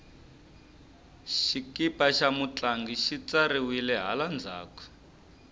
xikipa xa mutlangi xi tsariwile hala ndzhaku